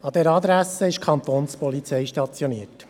An dieser Adresse ist die Kantonspolizei Bern stationiert.